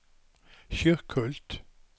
Kyrkhult